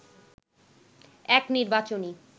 এক নির্বাচনী